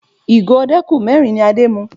Ìgò ọdẹ́kù mẹ́rin ni Adé mu